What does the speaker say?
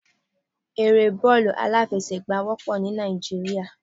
Eré bọ́ọ̀lù aláfẹsẹ̀gbá wópọ̀ ní Náìjíríà